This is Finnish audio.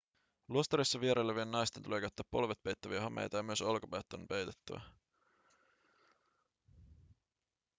luostareissa vierailevien naisten tulee käyttää polvet peittäviä hameita ja myös olkapäät on peitettävä